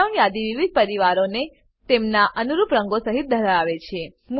drop down યાદી વિવિધ પરિવારોને તેમના અનુરૂપ રંગો સહીત ધરાવે છે